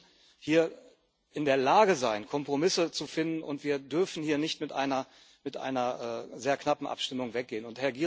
Wir müssen hier in der Lage sein, Kompromisse zu finden, und wir dürfen hier nicht mit einer sehr knappen Abstimmung weggehen.